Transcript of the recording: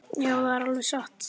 Já, það er alveg satt.